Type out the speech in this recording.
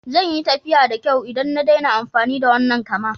Zan yi tafiya da kyau idan na daina amfani da wannan kama.